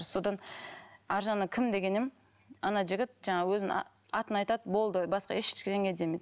содан арғы жағынан кім деген едім ана жігіт жаңағы өзінің атын айтады болды басқа ештеңе демейді